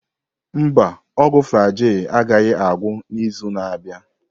Mba, ọgwụ Flagyl agaghị agwụ n'izu na-abịa.